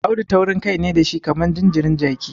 Audu taurinkai ne da shi kamar jinjirin jaki.